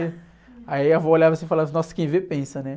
Aí a vó olhava assim e falava, nossa, quem vê pensa, né?